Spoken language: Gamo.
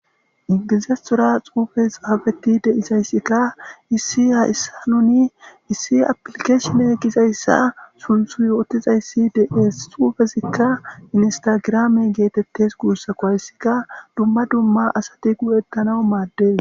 Ingizastora xuufes hafeti deisayssikka issi ha issa nuni issi aplikeeshone gizayssa sunthu yootizayssi dees xuufezikka minstagraame geetettes guussako hayssikka dumma dumma asati gu'ettana maaddes.